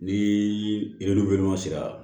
Ni yiri dun bɛ ɲɔn sera